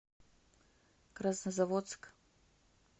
краснозаводск